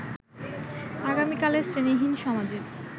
আগামীকালের শ্রেণীহীন সমাজের